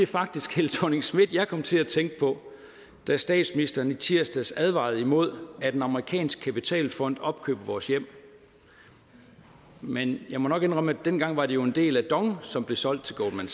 faktisk helle thorning schmidt jeg kom til at tænke på da statsministeren i tirsdags advarede imod at en amerikansk kapitalfond opkøber vores hjem men jeg må nok indrømme at dengang var det jo en del af dong som blev solgt til goldman